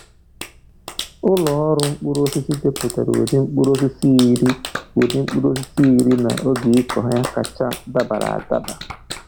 Ụlọ ọrụ mkpụrụ osisi depụtara ụdị mkpụrụosisi iri ụdị mkpụrụosisi iri na oge ịkụ ha kacha dabara adaba.